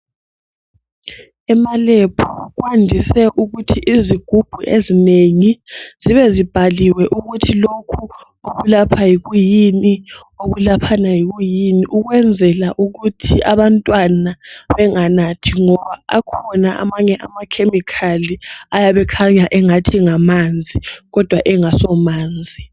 Emalebhu kwandise ukuthi izigubhu ezinengi zibe zibhaliwe ukuthi lokhu okulapha kuyini okulaphana kuyini ukwenzela ukuthi abantwana benganathi ngoba akhona amanye amakhemikhali ayabe ekhanya engathi ngamanzi kodwa engasomanzi.